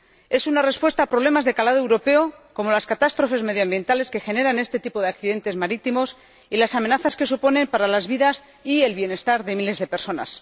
Es una respuesta a problemas de calado europeo como las catástrofes medioambientales que generan este tipo de accidentes marítimos y las amenazas que suponen para las vidas y el bienestar de miles de personas.